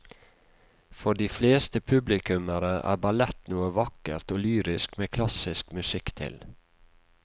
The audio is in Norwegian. For de fleste publikummere er ballett noe vakkert og lyrisk med klassisk musikk til.